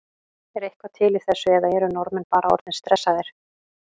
Er eitthvað til í þessu eða eru Norðmenn bara orðnir stressaðir?